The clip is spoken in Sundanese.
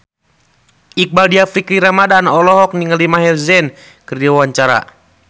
Iqbaal Dhiafakhri Ramadhan olohok ningali Maher Zein keur diwawancara